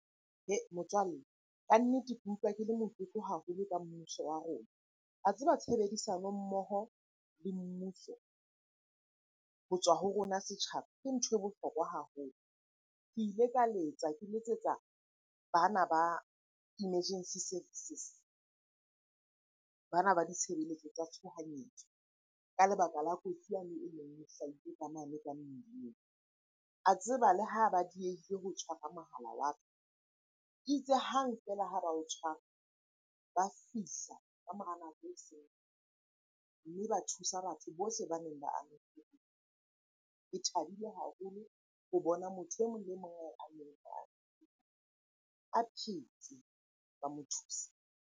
Motswalle kannete, ke utlwa ke le motlotlo haholo ka mmuso wa rona. Wa tseba tshebedisano mmoho le mmuso ho tswa ho rona setjhaba ke nthwe bohlokwa haholo. Ke ile ka letsa, ke letsetsa bana ba emergency services. Bana ba ditshebeletso tsa tshohanyetso ka lebaka la kotsi yane hlahile ka mane ka mmileng. A tseba le ha ba diehile ho mohala wa ka, itse hang feela ha ba o tshwara. Ba fihla ka mora nako , mme ba thusa batho bohle baneng ba amehile . Ke thabile haholo ho bona motho emong le emong a phetse, ba mo thusa.